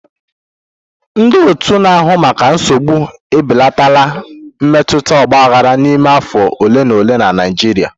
Ndị otu na-ahụ maka nsogbu ebelatala mmetụta ọgbaghara n'ime afọ ole na ole na Naịjirịa.